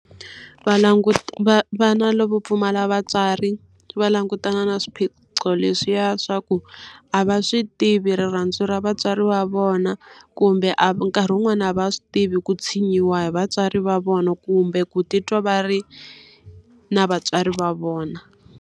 Va vana lavo pfumala vatswari va langutana na swiphiqo leswiya swa ku, a va swi tivi rirhandzu ra vatswari va vona. Kumbe a nkarhi wun'wani a va swi tivi ku tshinyiwa hi vatswari va vona kumbe ku titwa va ri na vatswari va vona.